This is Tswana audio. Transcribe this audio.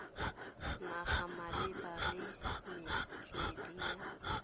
naga malebana le metswedi ya